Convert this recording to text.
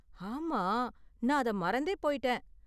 ஆமா, நான் அத மறந்தே போயிட்டேன்.